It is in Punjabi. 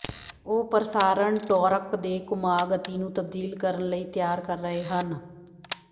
ਉਹ ਪ੍ਰਸਾਰਣ ਟੋਅਰਕ ਦੇ ਘੁਮਾਅ ਗਤੀ ਨੂੰ ਤਬਦੀਲ ਕਰਨ ਲਈ ਤਿਆਰ ਕਰ ਰਹੇ ਹਨ